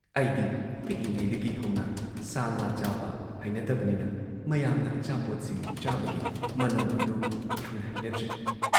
ꯑꯩꯗꯤ ꯄꯤꯛꯂꯤꯉꯩꯗꯒꯤ ꯍꯧꯅ ꯁꯥ ꯉꯥ ꯆꯥꯕ ꯍꯩꯅꯗꯕꯅꯤꯅ ꯃꯌꯥꯝꯅ ꯑꯆꯥꯄꯣꯠꯁꯤꯡ ꯆꯥꯕꯒꯤ ꯃꯅꯝ ꯑꯗꯨ ꯌꯥꯝꯅ ꯍꯩꯅꯗ꯭ꯔꯦ ꯫